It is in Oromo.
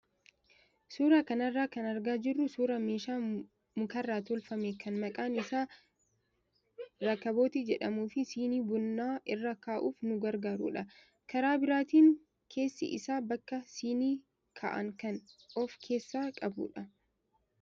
Suuraa kanarraa kan argaa jirru suuraa meeshaa mukarraa tolfame kan maqaan isaa irkabootii jedhamuu fi siinii bunaa irra kaa'uuf nu gargaarudha. Karaa biraatiin keessi isaas bakka siinii kaa'an kan of keessaa qabudha.